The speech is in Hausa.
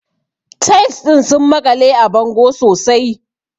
Tiles ɗin sun makale a bango sosai.